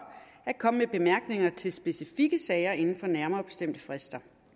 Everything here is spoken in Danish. at komme med bemærkninger til specifikke sager inden for nærmere bestemte frister